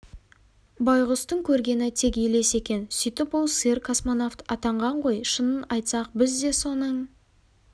байғұстың көргені тек елес екен сөйтіп ол сиыр космонавт атанған ғой шынын айтсақ біз де соның